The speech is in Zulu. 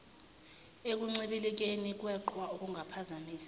ekuncibilikeni kweqhwa okungaphazamisa